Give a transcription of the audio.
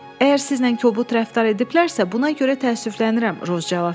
Əgər sizlə kobud rəftar ediblərrsə, buna görə təəssüflənirəm.